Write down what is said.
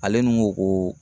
Ale nun ko koo